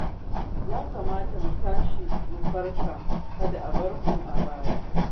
Ya kamata mu tashi mu farka kada mu bari a bar mu a baya